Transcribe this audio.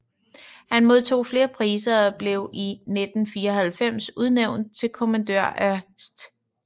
Han modtog flere priser og blev i 1994 udnævnt til kommandør af St